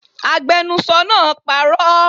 Agbenusọ náà parọ́